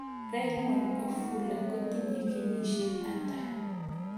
Raymond ofula kotinyee kenyisiek atak